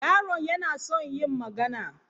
Yaron yana son yin magana.